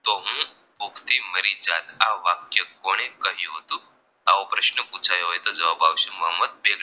તો હું ભૂખથી મરી જાત આ વાક્ય કોણે કહ્યું હતું આવો પ્રશ્ન પુછાયો હોય તો જવાબ આવશે મોહમ્મદ